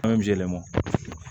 An bɛ jɛlen bɔ